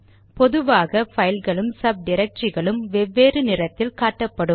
பொதுவாக பைல்களும் சப் டிரக்டரிகளும் வெவ்வேறு நிறத்தில் காட்டப்படும்